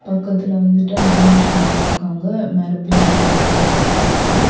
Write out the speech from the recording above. பக்கத்துல வந்துட்டு ஹேண்ட்வாஷ்லா வச்சிருக்காங்க மேல பின்னாடி நெறைய பிளக்ஸ் இருக்கு.